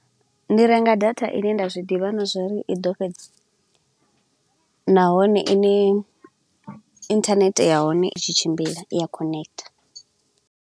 Ndi renga data ine nda zwi ḓivha na zwa uri i ḓo fhedzi, nahone ine internet ya hone i tshi tshimbila i ya khonekitha.